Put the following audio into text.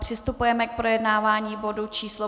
Přistupujeme k projednávání bodu číslo